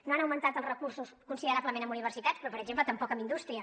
no han augmentat els recursos considerablement a universitats però per exemple tampoc a indústria